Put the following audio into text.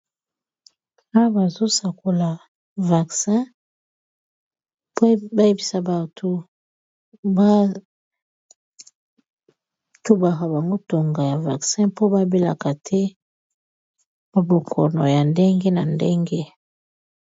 Awa bazo sakola vaccin po ba yebisa batu ba tubaka bango ntonga ya vaccin, mpo ba belaka te ba bokono ya ndenge na ndenge.